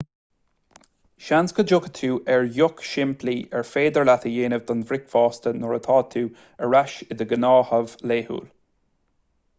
seans go dtiocfaidh tú ar dheoch shimplí ar féidir leat a dhéanamh don bhricfeasta nuair atá tú ar ais i do ghnáthamh laethúil